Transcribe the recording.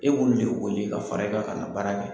E b'olu de wele ka fara i kan ka na baara kɛ.